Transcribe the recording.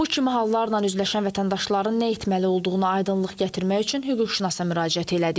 Bu kimi hallarla üzləşən vətəndaşların nə etməli olduğunu aydınlıq gətirmək üçün hüquqşünasa müraciət elədik.